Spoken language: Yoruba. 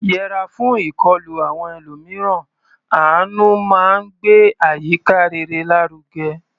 Yẹra fún ìkọlù àwọn ẹlòmíràn; àánú máa ń gbé àyíká rere lárugẹ.